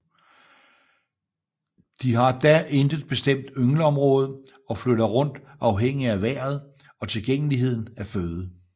De har da intet bestemt yngleområde og flytter rundt afhængig af vejret og tilgængeligheden af føde